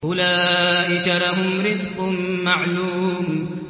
أُولَٰئِكَ لَهُمْ رِزْقٌ مَّعْلُومٌ